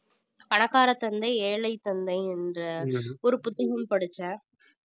பணக்கார தந்தை ஏழை தந்தை என்ற ஒரு புத்தகம் படிச்சேன்